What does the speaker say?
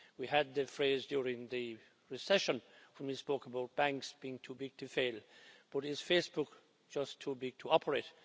We had the phrase during the recession from his book about banks being too big to fail, but is Facebook just too big to operate?